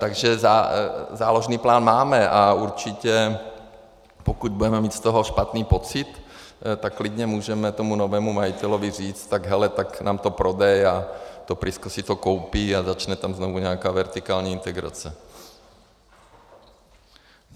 Takže záložní plán máme a určitě, pokud budeme mít z toho špatný pocit, tak klidně můžeme tomu novému majiteli říct "tak hele, tak nám to prodej" a to Prisco si to koupí a začne tam znovu nějaká vertikální integrace.